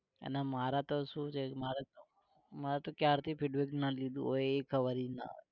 અને માર તો શું છે મારે તો મારે તો ક્યારથી feedback ના લીધું હોય એ ખબર ના હોય